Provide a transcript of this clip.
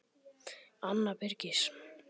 Anna Birgis.